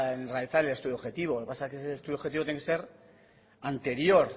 en realizar el estudio objetivo lo que pasa es que ese estudio objetivo tiene que ser anterior